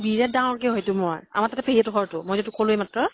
তাতে বিৰাত ডাঙৰ কে হয় তো । আমাৰ পেহী হতঁৰ ঘৰ তো। মই যে কʼলো এইমাত্ৰ